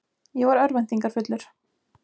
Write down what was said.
Ég var örvæntingarfullur.